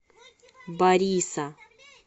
бориса